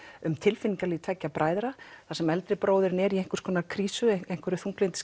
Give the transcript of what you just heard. um tilfinningalíf tveggja bræðra þar sem eldri bróðirinn er í einhvers konar krísu einhverri